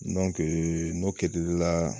Dɔnkee n'o kɛdi i la